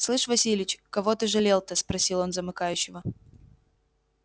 слышь васильич кого ты жалел-то спросил он у замыкающего